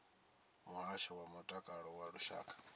muhasho wa mutakalo wa lushaka